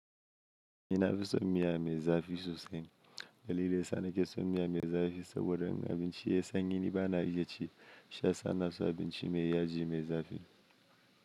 Ina fi son miya mai zafi sosai, dalile ya sa na ke son miya mai zafi saboda in abinci ya yi sanyi ni ba na iya ci, sha sana su abinci mai yaji mai zafi.